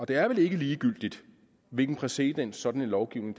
det er vel ikke ligegyldigt hvilken præcedens sådan en lovgivning